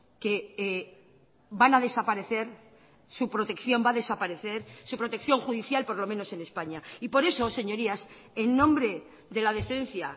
que van a desaparecer su protección va a desaparecer su protección judicial por lo menos en españa y por eso señorías en nombre de la decencia